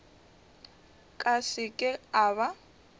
ka se ke a ba